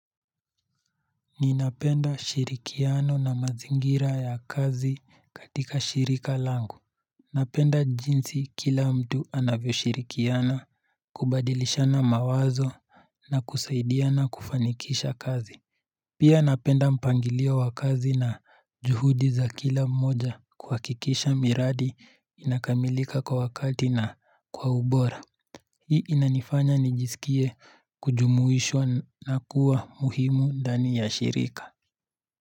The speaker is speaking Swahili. Ninapenda shirikiano na mazingira ya kazi katika shirika langu. Napenda jinsi kila mtu anavyoshirikiana, kubadilishana mawazo na kusaidiana kufanikisha kazi. Pia napenda mpangilio wa kazi na juhudi za kila mmoja kuhakikisha miradi inakamilika kwa wakati na kwa ubora. Hii inanifanya nijisikie kujumuishwa na kuwa muhimu ndani ya shirika.